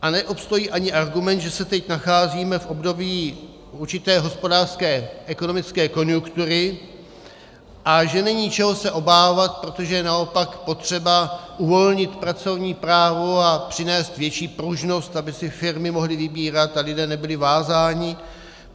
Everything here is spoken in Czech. A neobstojí ani argument, že se teď nacházíme v období určité hospodářské ekonomické konjunktury a že není čeho se obávat, protože naopak je potřeba uvolnit pracovní právo a přinést větší pružnost, aby si firmy mohly vybírat a lidé nebyli vázáni.